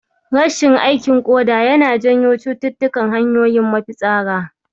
Rashin aikin ƙoda yana janyo cututtukan hanyoyin mafitsara.